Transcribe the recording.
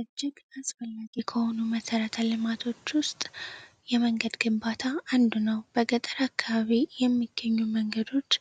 እጅግ አስፈላጊ ከሆኑ መሰረተ ልማቶች ውስጥ የመንገድ ግንባታ አንዱ ነው። በገጠር አካባቢ የሚገኙ መንገዶች